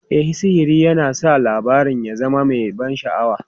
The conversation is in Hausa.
E, sihiri yana sa labarin ya zama mai ban sha'awa.